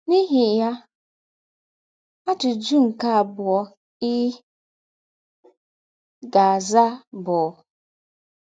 N’ihi ya, ajụjụ nke abụọ ị ga - aza bụ...